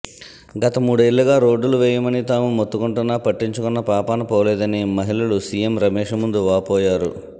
గత మూడేళ్ళుగా రోడ్డులు వేయమని తాము మొత్తుకుంటున్నా పట్టించుకున్న పాపాన పోలేదని మహిళలు సీఎం రమేష్ ముందు వాపోయారు